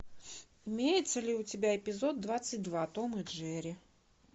имеется ли у тебя эпизод двадцать два том и джерри